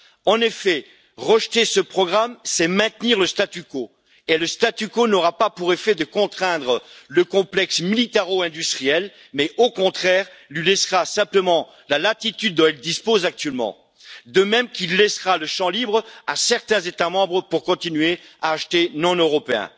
En effet, rejeter ce programme, c'est maintenir le statu quo et le statu quo n'aura pas pour effet de contraindre le complexe militaro industriel, mais au contraire lui laissera simplement la latitude dont il dispose actuellement, de même qu'il laissera le champ libre à certains États membres pour continuer à acheter non européen.